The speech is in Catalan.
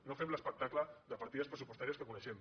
no fem l’espectacle de partides pressupostàries que coneixem